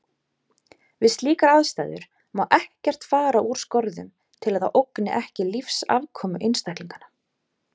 Við slíkar aðstæður má ekkert fara úr skorðum til að það ógni ekki lífsafkomu einstaklinganna.